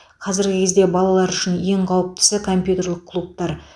қазіргі кезде балалар үшін ең қауіптісі компьютерлік клубтар